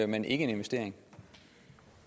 men ikke en investering